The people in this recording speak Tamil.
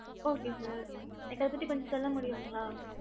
okey sir எங்கள பத்தி கொஞசம் சொல்ல முடியும்களா